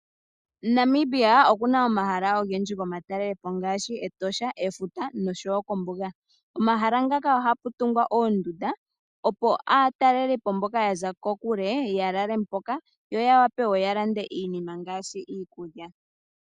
Namibia okuna omahala ogendji go matalele po ngaashi: Etosha, efuta nosho wo kombuga. Omahala ngaka oha pu tungwa oondunda, opo aatalelipo mboka ya za kokule ya lale mpoka, yo ya wape okulanda iinima ngaashi iikulya.